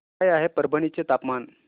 काय आहे परभणी चे तापमान